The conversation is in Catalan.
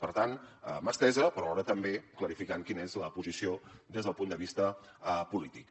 per tant mà estesa però alhora també clarificant quina és la posició des del punt de vista polític